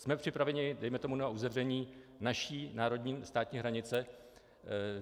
Jsme připraveni, dejme tomu, na uzavření naší národní, státní hranice?